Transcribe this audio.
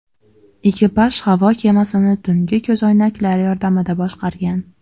Ekipaj havo kemasini tungi ko‘zoynaklar yordamida boshqargan.